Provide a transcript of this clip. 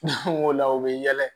o la u bɛ yɛlɛ